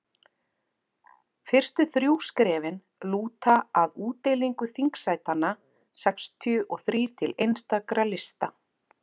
fyrstu þrjú skrefin lúta að útdeilingu þingsætanna sextíu og þrír til einstakra lista